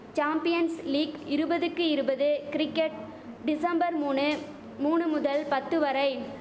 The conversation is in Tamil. சாம்பியன்ஸ் லீக் இருபதுக்கு இருபது கிரிக்கட் டிசம்பர் மூனு மூனு முதல் பத்து வரை